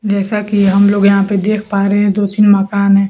जैसा कि हम लोग यहां पे देख पा रहे हैं दो तीन मकान हैं।